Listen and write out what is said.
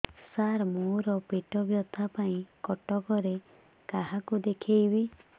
ସାର ମୋ ର ପେଟ ବ୍ୟଥା ପାଇଁ କଟକରେ କାହାକୁ ଦେଖେଇବି